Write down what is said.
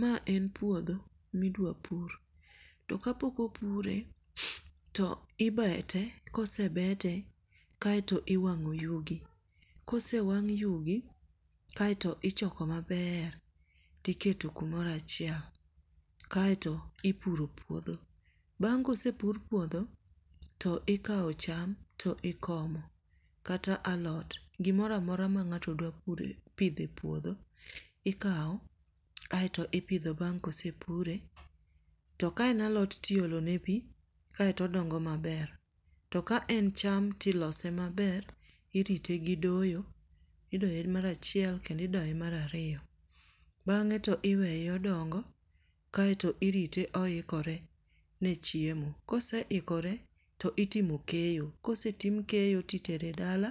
Ma en puodho ma idwa pur. To ka pok opure to ibete, ka osebete, kaeto iwangó yugi. Ka osewang' yugi kaeto ichoko maber tiketo kumoro achiel. Kaeto ipuro puodho. Bang' ka osepur puodho to ikawo cham to ikomo. Kata alot, gimoro amora ma ngáto dwa puro, pidho e puodho ikawo, aeto ipidho bang' ka osepure. To ka en alot to iolo ne pi, kaeto odongo maber. To ka en cham to ilose maber, irite gi doyo. Idoye mar achiel kendo idoye mar ariyo. Bangé to iweye odongo kaeto irite oikore ne chiemo. Ka oseikore to itimo keyo. Ka osetim keyo, ti tere dala,